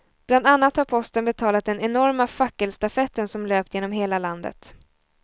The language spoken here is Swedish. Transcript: Bland annat har posten betalat den enorma fackelstafetten som löpt genom hela landet.